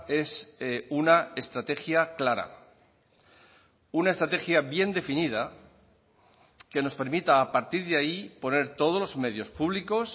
es una estrategia clara una estrategia bien definida que nos permita a partir de ahí poner todos los medios públicos